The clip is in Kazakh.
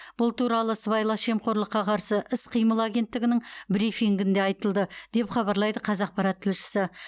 бұл туралы сыбайлас жемқорлыққа қарсы іс қимыл агентігінің брифингінде айтылды деп хабарлайды қазақпарат тілшісі